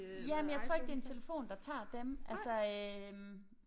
Jamen jeg tror ikke det en telefon der tager dem altså øh